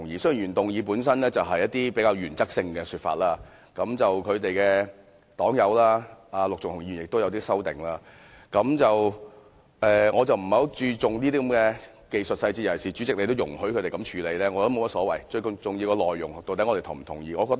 雖然原議案本身是一些比較原則性的說法，而他的黨友陸頌雄議員亦提出一些修訂，但我不太注重這些技術細節，尤其是主席既然也容許他們這樣處理，我認為也沒有所謂，最重要的是我們是否贊同當中的內容。